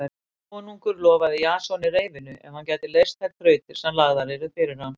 Konungur lofaði Jasoni reyfinu ef hann gæti leyst þær þrautir sem lagðar yrðu fyrir hann.